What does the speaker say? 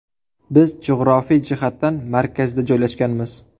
Biz jug‘rofiy jihatdan markazda joylashganmiz.